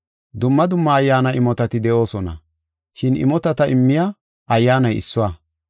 Dumma dumma Ayyaana imotati de7oosona, shin imotata immiya Ayyaanay issuwa.